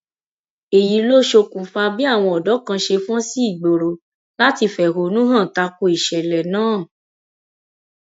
èyí ló ṣokùnfà bí àwọn ọdọ kan ṣe fọn sí ìgboro láti fẹhónú hàn ta ko ìṣẹlẹ náà